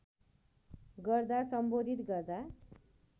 गर्दा सम्बोधित गर्दा